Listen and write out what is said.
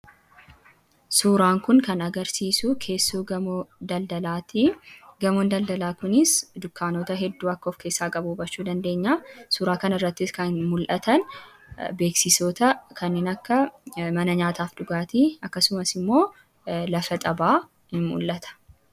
Suuraaan kun kan agarsiisu keessoo gamoo giddu gala daldalaati. Gamoon daldalaa kunis dukkaanota hedduu akka of keessaa qabu hubachuu dandeenya. Suuraa kana irrattis kan mul'atan beeksisoota kanneen akka mana nyaataa fi dhugaatii, akkasumas immoo bakki taphaa in mul'ata.